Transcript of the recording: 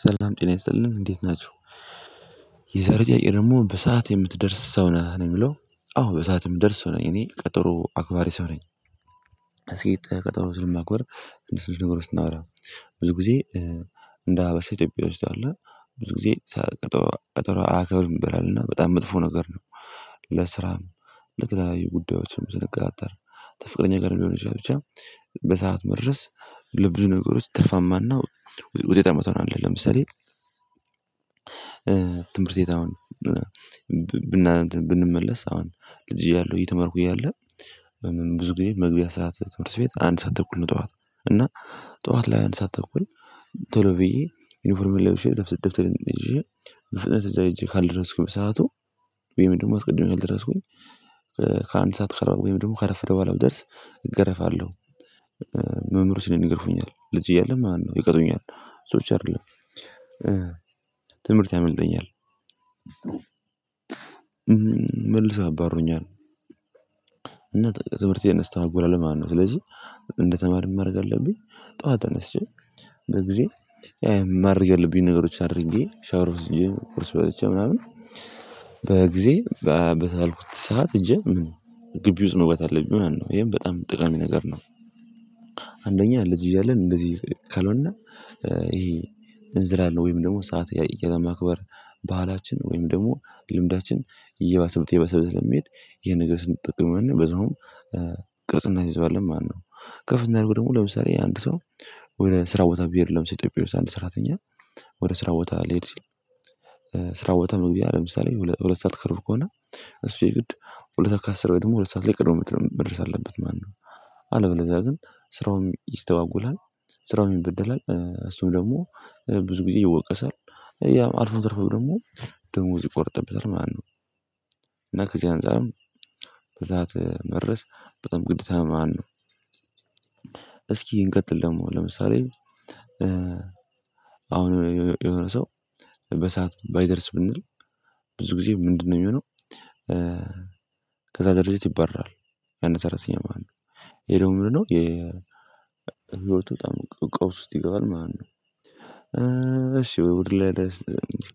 ሰላም ጤና ይሰጥልን እንዴት ናችሁ? የዛሬው ጥያቄ ደግሞ በሰአት የምትደርስ ሰው ነህ? ነው የሚለው አዎ በሰአት እምደርስ ሰው እኔ ቀጠሮ አክባሪ ሰው ነኝ አስቄጥ ቀጠሮ ዝም ማክበር እንደሱ ነገሮች ስናወራ ብዙ ጊዜ እንደ ሀበሻ ኢትዮጵያ ውስጥ አለ ብዙ ጊዜ ሰዓት ቀጠሮ አያከብርም ይባላልና በጣም መጥፎ ነገር ነው ለሥራም ለተለያዩ ጉዳዮችም ስንቀጣጠር ተፍቅረኛ ጋርም ሊሆን ይችላል ብቻ በሰአት መድረስ ለብዙ ነገሮች ትርፋማና ውጤታማ ትሆናለህ ለምሳሌ ትምህርት ቤት አሁን ብንመለስ አሁን ልጅ እያለሁ እተመርኩ እያለ ብዙ ጊዜ መግቢያ ሰዓት ትምህርት ቤት አንድ ሰዓት ተኩል ነው ጠዋት እና ጠዋት ላይ አንድ ሰዓት ተኩል ቶሎ ብዬ ዩኒፎርም ላይ ውሸት ደብስ ደብተህ ይዤ ፍጥነት እዛ ይዤ ካልደረስኩ በሰአቱ ወይም ደግሞ አስቀድሜ ካልደረስኩኝ ከአንድ ሰዓት ወይም ደግሞ ካረፈደ በኋላ ብደርስ እገረፋለሁ መምህሮች ይገርፉኛል ልጅ እያለን ማለት ነው ይቀጡኛል ሰዎች አይደለም ትምህርት ያመልጠኛል መልሰው ያባርሩኛል እና ትምህርቴን እስተጓጎላለን ማለት ነው ስለዚህ እንደተማርክ ማድረግ አለብኝ ጠዋት አነስቼ በጊዜ የማድርገው ብዬ ነገሮች አድርጌ ሻወር ውስጥ ኮርስ በለቻ ምናምን በጊዜ በተባልኩት ሰዓት ሄጄ ምንም ግቢ ውስጥ መግባት አለብኝ ማለት ነው የሚሆነው ይሄን በጣም ጥቅም ነገር ነው አንደኛ ልጅ እያለን እንደዚህ ካልሆነ ይሄ እንዝላል ወይም ደግሞ ሰዓት ያለማክበር ባህላችን ወይም ደግሞ ልምዳችን እየባሰበት እየባሰበት ስለሚሄድ ይህን ነገር ስንጠቀም በዛውም ቅርጽና እናስይዘዋለን ማለት ነው ከፍ ስናደርገው ደግሞ ለምሳሌ አንድ ሰው ወይ ስራ ቦታ ቢሄድ ለምሳሌ ኢትዮጵያ ውስጥ አንድ ስራተኛ ወደ ስራ ቦታ ሊሄድ ስል ስራ ቦታ መግቢያ ለምሳሌ ሁለት ሰዓት ከሩብ ከሆነ እሱ የግድ ሁለት ከአስር ወይ ደግሞ ሁለት ሰዓት ላይ ቀድሞ መድረስ አለበት ማነው አለበለዚያ ግን ስራውን ይስተጓጎላል ስራውም ይበደላል እሱም ደግሞ ብዙ ጊዜ ይወቀሳል ያም አልፎ ተርፎም ደግሞ ደሞዙ ይቆርጥበታል ማለት ነው እና ከዚህ አንፃርም በሰአት መድረስ በጣም ግዴታ ነው ማለት ነው እስኪ እንቀጥል ደግሞ ለምሳሌ አሁን የሆነ ሰው በሰአት ባይደርስ ብንል ብዙ ጊዜ ምንድነው የሚሆነው ከዛ ድርጅት ይባረራል አንድ ሰራተኛ ማለት ነው ይሄ ደግሞ ነው የ ህይወቱ ቀውስ ወስጥ ይገባል ማለት ነው እሺ ወደ ላይ